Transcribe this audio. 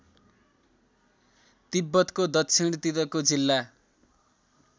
तिब्बतको दक्षिणतिरको जिल्ला